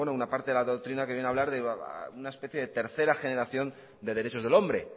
una parte de la doctrina que viene a hablar de una especie de tercera generación de derechos del hombre